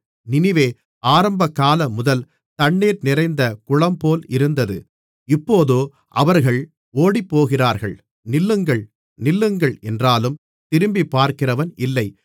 நினிவே ஆரம்பகாலமுதல் தண்ணீர் நிறைந்த குளம்போல் இருந்தது இப்போதோ அவர்கள் ஓடிப்போகிறார்கள் நில்லுங்கள் நில்லுங்கள் என்றாலும் திரும்பிப்பார்க்கிறவன் இல்லை